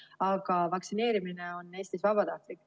Aga vaktsineerimine on Eestis vabatahtlik.